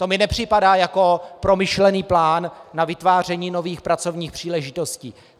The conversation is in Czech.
To mi nepřipadá jako promyšlený plán na vytváření nových pracovních příležitostí.